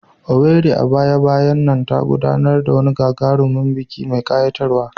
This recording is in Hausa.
Owerri, a baya-bayan nan, ta gudanar da wani gagarumin biki mai ƙayatarwa.